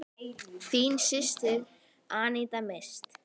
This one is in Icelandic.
Þín systir, Aníta Mist.